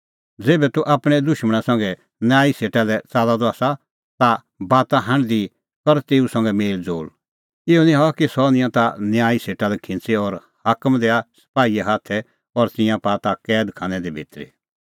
ज़ेभै तूह आपणैं दुशमणा संघै न्यायी सेटा लै च़ाल्लअ द आसा ता बाता हांढदी कर तेऊ संघै मेल़ज़ोल़ इहअ निं हआ कि सह निंयां ताह न्यायी सेटा लै खिंच़ी और हाकम दैआ सपाहीए हाथै और तिंयां पाआ ताह कैद खानै भितरी